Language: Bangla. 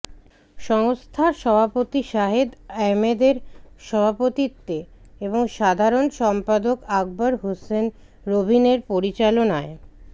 সংস্থার সভাপতি সাহেদ আহমদের সভাপতিত্বে এবং সাধারণ সম্পাদক আকবর হোসেন রবিনের পরিচালনায়